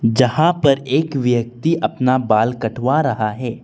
जहां पर एक व्यक्ति अपना बाल कटवा रहा है।